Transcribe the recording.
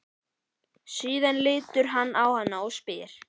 Síðan lítur hann á hana og spyr